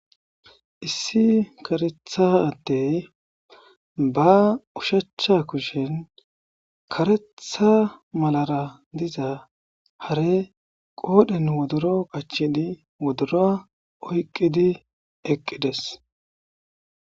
issi karethadey ba ushachcha kushen karetha malara diza hare qoodhen wodoro qachini wodora oyqqidi eqqides